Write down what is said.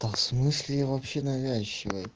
да в смысле я вообще навязчивый